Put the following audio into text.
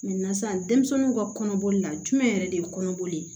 sisan denmisɛnninw ka kɔnɔboli la jumɛn yɛrɛ de ye kɔnɔboli ye